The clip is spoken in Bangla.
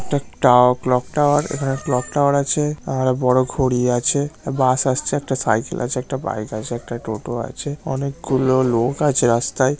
একটা টাও ক্লক টাওয়ার এখানে ক্লক টাওয়ার আছে আর বড় ঘড়ি আছে। বাস আসছে একটা সাইকেল আছে একটা বাইক আছে একটা টোটো আছে অনেকগুলো লোক আছে রাস্তায়--